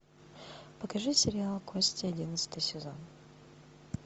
покажи сериал кости одиннадцатый сезон